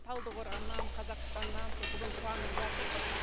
талдықорғаннан қазақстаннан со бүгін қуанып жатырмыз